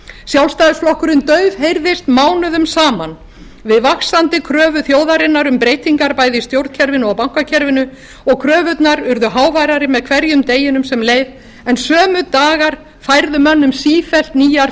sjálfstæðisflokkurinn daufheyrðist mánuðum saman við vaxandi kröfu þjóðarinnar um breytingar bæði í stjórnkerfinu og bankakerfinu og kröfurnar urðu háværari með hverjum deginum sem leið en sömu dagar færðu mönnum sífellt nýjar